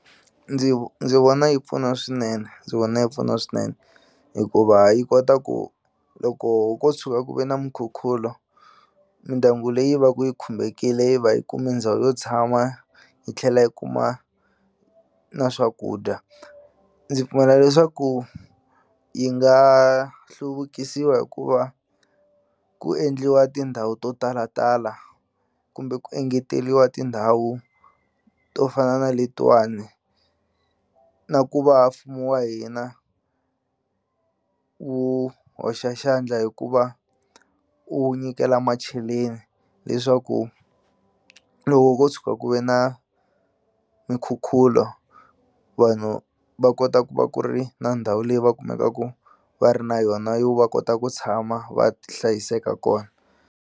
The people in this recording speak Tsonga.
Ndzi ndzi vona yi pfuna swinene ndzi vona yi pfuna swinene hikuva yi kota ku loko ko tshuka ku ve na mukhukhulo mindyangu leyi va ku yi khumbekile yi va yi kumi ndhawu yo tshama yi tlhela yi kuma na swakudya ndzi pfumela leswaku yi nga hluvukisiwa hi ku va ku endliwa tindhawu to talatala kumbe ku engeteliwa tindhawu to fana na letiwani na ku va mfumo wa hina wu hoxa xandla hi ku va u nyikela macheleni leswaku loko ko tshuka ku ve na minkhukhulo vanhu va kota ku va ku ri na ndhawu leyi va kumekaku va ri na yona yo va kota ku tshama va hlayiseka kona.